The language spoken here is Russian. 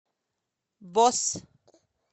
босс